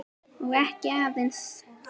Og ekki aðeins það.